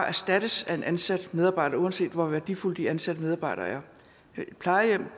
erstattes af en ansat medarbejder uanset hvor værdifulde de ansatte medarbejdere er plejehjemmet